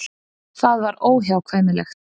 Það var óhjákvæmilegt.